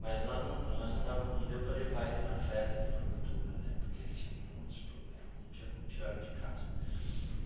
Mas lá não mas não dava não deu para levar ele na festa de formatura né, porque ele tinha muitos problemas, não tinha como tirá-lo de casa.